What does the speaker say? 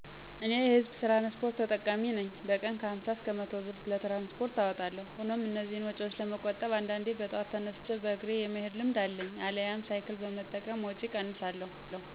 " እኔ የ ህዝብ ትራንስፖርት ተጠቃሚ ነኝ በቀን ከ ሀምሳ እስከ መቶ ብር ለትራንስፖርት አወጣለሁ ሆኖም እነዚህን ወጪዎች ለመቆጠብ አንዳንዴ በጠዋት ተነስቼ በእግሬ የመሄድ ልምድ አለኝ አልያም ሳይክል በመጠቀም ወጪ እቀንሳለሁ" ።